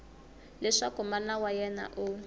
leswaku mana wa yena u